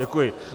Děkuji.